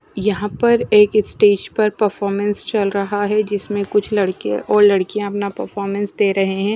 यहां पर एक स्टेज पर परफॉर्मेंस चल रहा है जिसमें कुछ लड़के और लड़कियां अपना परफॉर्मेंस दे रहे हैं।